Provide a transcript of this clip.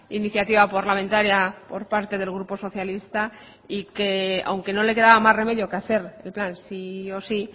iniciativa parlamentaria por parte del grupo socialista y que aunque no le quedaba más remedio que hacer el plan sí o sí